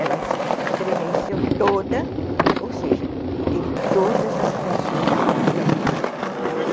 Ela estremeceu toda, ou seja, teve todas as reações e reflexos normais.